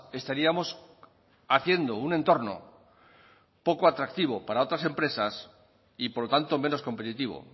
estaríamos haciendo un entorno poco atractivo para otras empresas y por lo tanto menos competitivo